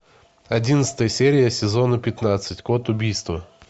одиннадцатая серия сезона пятнадцать код убийства